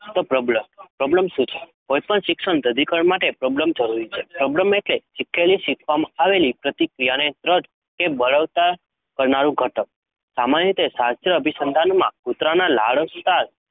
પ્રબલન કોઈપણ શિક્ષણના દઢીકરણ માટે પ્રબલન જરૂરી છે. પ્રબલન એટલે કે શીખેલી શીખવવામાં આવેલી પ્રતિક્રિયાને દૃઢ કે બળવત્તર કરનારું ઘટક. સામાન્ય રીતે શાસ્ત્રીય અભિસંધાનમાં કૂતરાના લાળસ્ત્રાવ